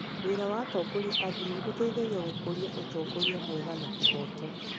Wĩra wa atongoria a ndini ũteithagia gũkũria ũtongoria mwega na kĩhooto.